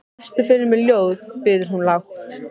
Lestu fyrir mig ljóð, biður hún lágt.